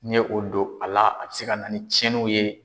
N'i ye o don a la a bɛ se ka na ni cɛnninw ye.